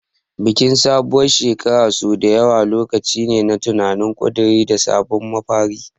Bikin sabuwar shekara sau da yawa lokaci ne na tunani, ƙuduri, da sabon mafari.